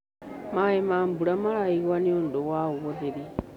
Maĩ ma mbũra maraĩgũwo nĩũndũ wa ũhũthĩrĩ